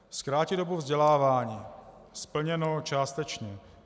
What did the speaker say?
Zkrátit dobu vzdělávání - splněno částečně.